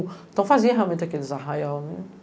Então fazia realmente aqueles arraial.